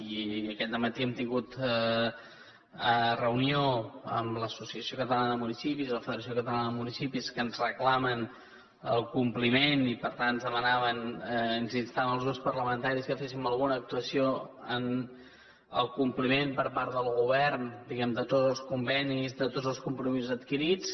i aquest dematí hem tingut reunió amb l’associació catalana de municipis i la federació catalana de municipis que ens reclamen el compliment i per tant ens demanaven ens instaven als grups parlamentaris que féssim alguna actuació en el compliment per part del govern diguem ne de tots els convenis de tots els compromisos adquirits